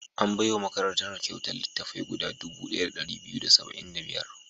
An bai wa makarantar kyautar littattafai guda dubu ɗaya da ɗari biyu da saba'in da biyar.